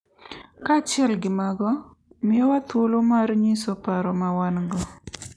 Kaachiel gi mago, miyowa thuolo mar nyiso paro ma wan-go .